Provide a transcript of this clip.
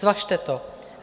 Zvažte to.